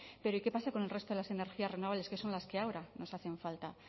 pero y qué pasa con el resto de las energías renovables que son las que ahora nos hacen falta